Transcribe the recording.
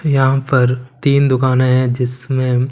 यहां पर तीन दुकाने है जिसमें--